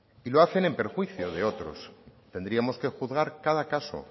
y lo hacen en perjuicio de otros tendríamos que juzgar cada caso